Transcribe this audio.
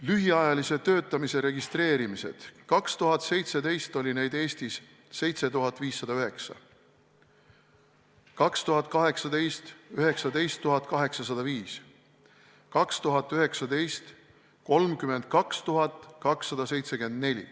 Lühiajalise töötamise registreerimised: 2017 oli neid Eestis 7509, 2018 – 19 805, 2019 – 32 274.